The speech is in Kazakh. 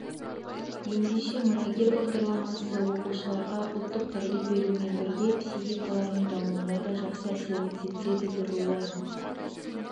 ендеше мұрагер бағдарламасы оқушыларға ұлттық тәрбие берумен бірге психикаларының дамуына да жақсы әсерін тигізеді деп ойлаймын